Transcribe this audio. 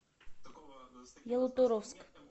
ялуторовск